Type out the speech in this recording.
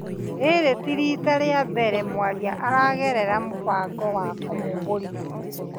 Rĩrĩ ti riita rĩa mbere mwaria aragerera mũbango wa kũmũmbũrithia.